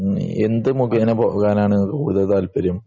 എന്ത് മുഖേന പോവാനാണ് ഒരു താല്പര്യം